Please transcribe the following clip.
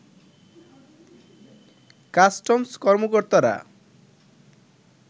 customs কর্মকর্তারা